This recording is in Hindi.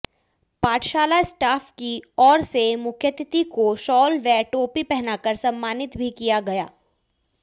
पाठशाला स्टाफ की ओर से मुख्यातिथि को शाल व टोपी पहनाकर सम्मानित भी किया गया